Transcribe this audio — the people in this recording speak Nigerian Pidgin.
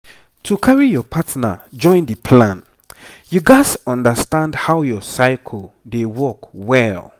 to carry your partner join the plan you gats understand how your cycle dey work well.